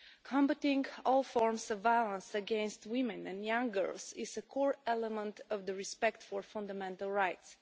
Combating all forms of violence against women and young girls is a core element of the respect for fundamental rights.